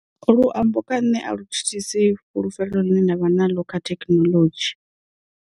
Luambo kha nṋe a lu thithisi fhulufhelo ḽine nda vha naḽo kha thekinoḽodzhi.